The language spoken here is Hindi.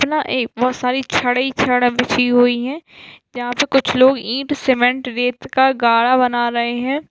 इतना ए बहुत सारी छड़ ही छड़ बिछी हुई हैं यहाँ पे कुछ लोग ईंट सीमेंट रेत का गाढ़ा बना रहे हैं।